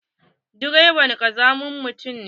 Direba ƙazamin mutum ne.